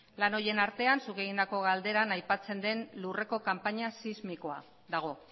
lan horien artean zuk egindako galderan aipatzen den lurreko kanpaina sismikoa dago